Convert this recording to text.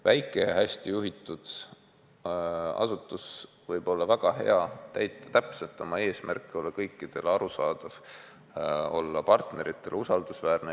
Väike ja hästi juhitud asutus võib olla väga hea, täita täpselt oma eesmärki, olla kõikidele arusaadav, olla partneritele usaldusväärne.